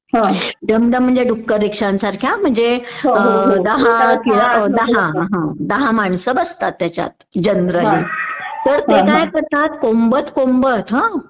dumdum म्हणजे डुक्कर रिक्षांसारख्या म्हणजे दहा हा दहा माणस बसतात त्याच्यात तर ते काय करतात कोंबत कोंबत ह